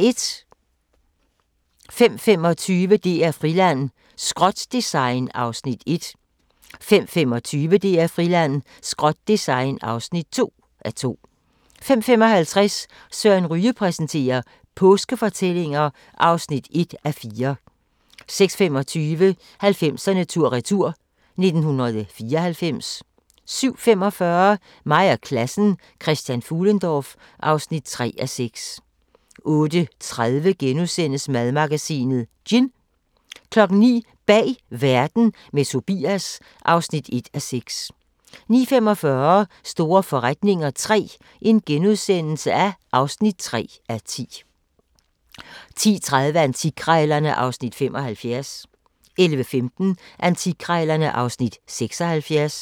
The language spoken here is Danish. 05:25: DR-Friland: Skrot-design (1:2) 05:25: DR-Friland: Skrot-design (2:2) 05:55: Søren Ryge præsenterer: Påskefortællinger (1:4) 06:25: 90'erne tur-retur: 1994 07:45: Mig og klassen: Christian Fuhlendorff (3:6) 08:30: Madmagasinet: Gin * 09:00: Bag Verden – med Tobias (1:6) 09:45: Store forretninger III (3:10)* 10:30: Antikkrejlerne (Afs. 75) 11:15: Antikkrejlerne (Afs. 76)